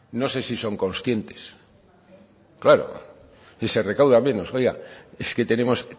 no sé si son conscientes claro y se recauda menos oiga es que tenemos